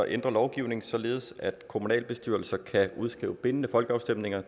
ændre lovgivningen således at kommunalbestyrelser kan udskrive bindende folkeafstemninger